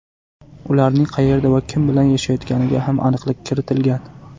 Ularning qayerda va kim bilan yashayotganiga ham aniqlik kiritilgan.